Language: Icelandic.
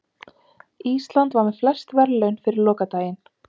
Ísland með flest verðlaun fyrir lokadaginn